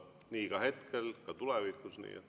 Nii on hetkel ja ka tulevikus.